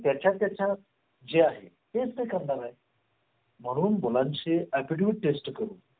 की त्याच्या जेच्या जे आहे तेच करणार आहे म्हणून मुलांशी academic test करून